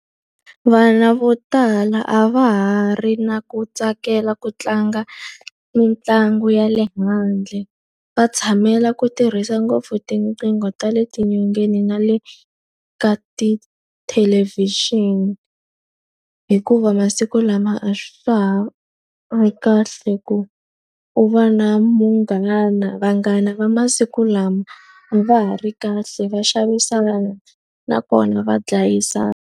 Vana vo tala a va ha ri na ku tsakela ku endla mitlangu ya le handle. Va tshamela ku tirhisa ngopfu tinqingo ta le tinyongeni na le ta tithelevhixini. Hikuva masiku lama a swa ha ri kahle ku u va na munghana. Vanghana va masiku lama va ha ri kahle va xavisa vanhu nakona va dlayisana.